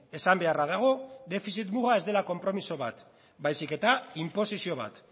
esan beharra dago defizit muga ez dela konpromiso bat baizik eta inposizio bat